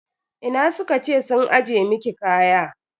Ina suka ce sun ajiye miki kaya?